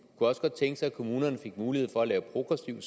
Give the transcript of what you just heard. også godt tænke sig at kommunerne fik mulighed for at lave en progressiv